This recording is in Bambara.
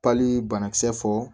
Pali banakisɛ fɔ